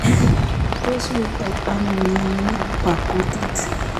Tos wetoi ano mnyeni bo kutik?